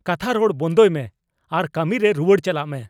ᱠᱟᱛᱷᱟ ᱨᱚᱲ ᱵᱚᱱᱫᱚᱭ ᱢᱮ ᱟᱨ ᱠᱟᱹᱢᱤ ᱨᱮ ᱨᱩᱣᱟᱹᱲ ᱪᱟᱞᱟᱜ ᱢᱮ !